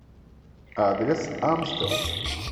адрес амстел